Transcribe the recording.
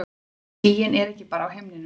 En skýin eru ekki bara á himninum.